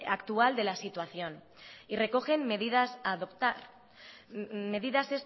actual de la situación y recogen medidas a adoptar medidas